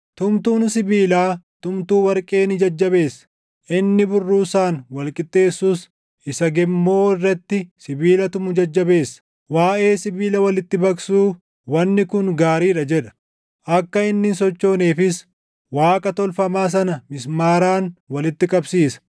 Tumtuun sibiilaa tumtuu warqee ni jajjabeessa; inni burruusaan wal qixxeessus, isa gemmoo irratti sibiila tumu jajjabeessa. Waaʼee sibiila walitti baqsuu, “Wanni kun gaarii dha” jedha. Akka inni hin sochooneefis Waaqa tolfamaa sana // mismaaraan walitti qabsiisa.